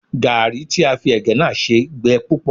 Gàárì tí a fi ẹ̀gẹ́ náà ṣe gbẹ púpọ̀